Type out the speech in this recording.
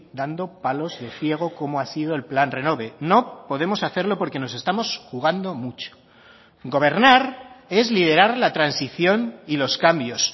dando palos de ciego como ha sido el plan renove no podemos hacerlo porque nos estamos jugando mucho gobernar es liderar la transición y los cambios